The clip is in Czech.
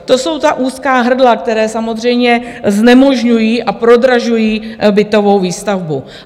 To jsou ta úzká hrdla, která samozřejmě znemožňují a prodražují bytovou výstavbu.